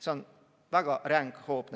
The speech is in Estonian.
See on nendele väga ränk hoop.